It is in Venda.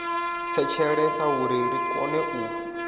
thetshelesa uri ri kone u